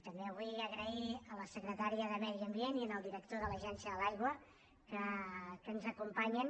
també vull donar les gràcies a la secretària de medi ambient i al director de l’agència de l’aigua que ens acompanyen